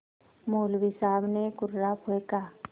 मौलवी साहब ने कुर्रा फेंका